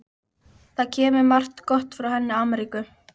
Það kemur margt gott frá henni Ameríku.